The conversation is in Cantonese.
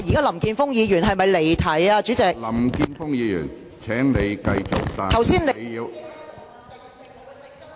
林健鋒議員，請繼續發言，但請你......